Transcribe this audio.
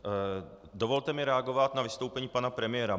Dovolte mi reagovat na vystoupení pana premiéra.